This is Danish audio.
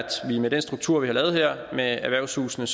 vi med den struktur vi har lavet her med erhvervshusene